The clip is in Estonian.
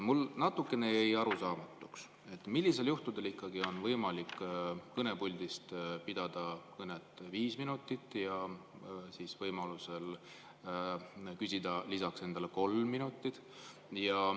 Mulle jäi natukene arusaamatuks, millistel juhtudel ikkagi on võimalik kõnepuldist pidada kõnet viis minutit ja küsida endale lisaks kolm minutit.